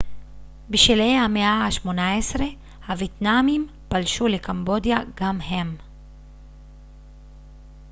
בשלהי המאה ה-18 הוייטנאמים פלשו לקמבודיה גם הם